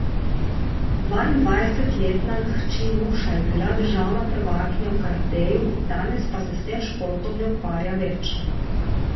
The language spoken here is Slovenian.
Dvaindvajsetletna hči Nuša je bila državna prvakinja v karateju, danes pa se s tem športom ne ukvarja več.